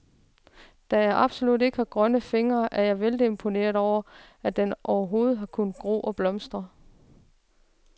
Da jeg absolut ikke har grønne fingre, er jeg vældig imponeret over, at den overhovedet har kunnet gro og blomstre.